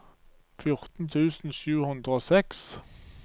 fjorten tusen sju hundre og seks